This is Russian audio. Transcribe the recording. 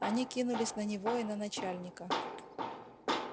они кинулись на него и на начальника